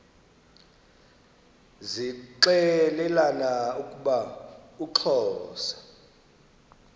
zixelelana ukuba uxhosa